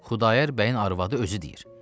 Xudayar bəyin arvadı özü deyir.